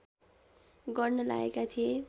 गर्न लागेका थिए